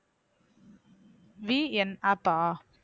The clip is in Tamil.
VNapp ஆ